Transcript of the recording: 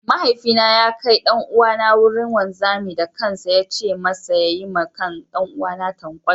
Mahaifina ya kai ɗan'uwana wurin wanzami da kansa ya ce masa ya yi wa ɗan'uwana tankwal.